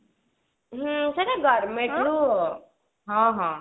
ହଁ ସେଟା government ରୁ ହଁ ହଁ